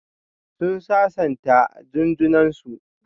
Sun sasanta Jun junan su.